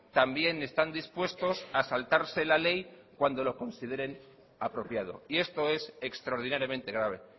también están dispuestos a saltarse la ley cuando lo consideren apropiado y esto es extraordinariamente grave